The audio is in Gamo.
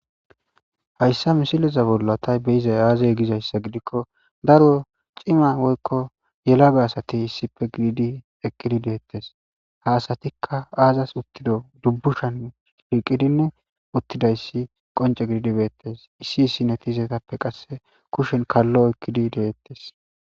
hayssa misileza bolla tay beyizay aazey gizayssa gidikko daro cima woykko yelaga asati issife gididi eqqidi deettes ha asatikka aazas uttido dubbushan fiiqidin uttidayssi qonce gididibeettes issi issinetiizetappe qasse kushen kallo ekkidi deettes